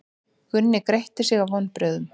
Gunni gretti sig af vonbrigðum.